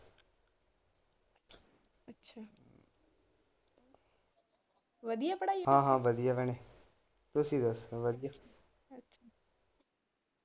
ਵਧੀਆਂ ਪੜਾਈ .